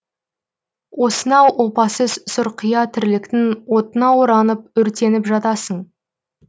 осынау опасыз сұрқия тірліктің отына оранып өртеніп жатасың